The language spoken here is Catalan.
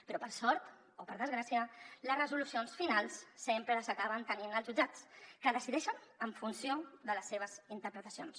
però per sort o per desgràcia les resolucions finals sempre les acaben tenint els jutjats que decideixen en funció de les seves interpretacions